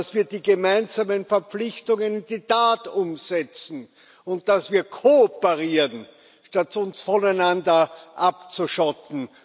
dass wir die gemeinsamen Verpflichtungen in die Tat umsetzen, und dass wir kooperieren, statt uns voneinander abzuschotten.